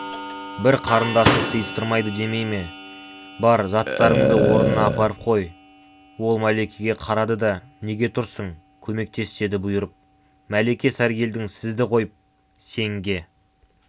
бір қарындасын сыйыстырмайды демей ме бар заттарыңды орнына апарып қой ол мәликеге қарады да неге тұрсың көмектес деді бұйырып мәлике сәргелдің сізді қойып сенге